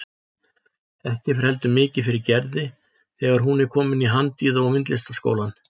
Ekki fer heldur mikið fyrir Gerði þegar hún er komin í Handíða- og myndlistaskólann.